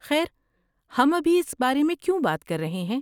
خیر، ہم ابھی اس بارے میں کیوں بات کر رہے ہیں؟